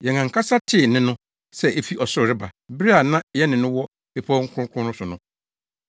Yɛn ankasa tee nne no sɛ efi ɔsoro reba bere a na yɛne no wɔ Bepɔw Kronkron no so no.